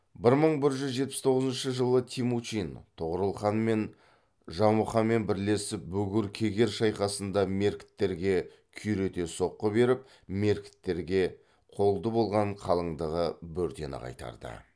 бір мың бір жүз жетпіс тоғызыншы жылы темучин тоғорылханмен жамұқамен бірлесіп бугур кегер шайқасында меркіттерге күйрете соққы беріп меркіттерге қолды болған қалыңдығы бөртені қайтарды